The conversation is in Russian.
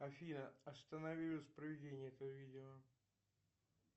афина останови воспроизведение этого видео